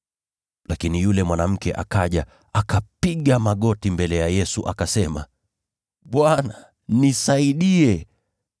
Lakini yule mwanamke akaja, akapiga magoti mbele ya Yesu, akasema, “Bwana, nisaidie!”